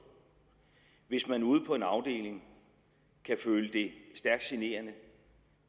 hvis man ude på en afdeling kan føle det stærkt generende